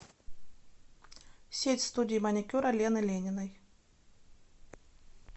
сеть студий маникюра лены лениной